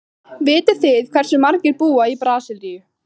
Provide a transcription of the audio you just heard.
Vitið þið hversu margir búa í Brasilíu?